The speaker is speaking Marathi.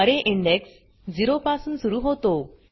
अरे इंडेक्स 0 पासून सुरू होतो